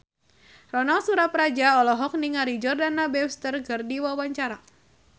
Ronal Surapradja olohok ningali Jordana Brewster keur diwawancara